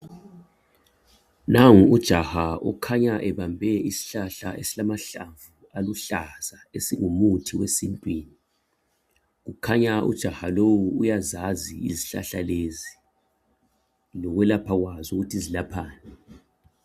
Nangu ujaha ukhanya ebambe isihlahla esilamahlamvu aluhlaza esingumuthi wesintwini. Kukhanya ujaha lo uyazazi izihlahla lezi lokulapha kwazo ukuthi zilaphani.